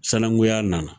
Sananguya nana